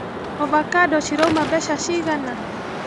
Ovacando cirauma mbeca cigana?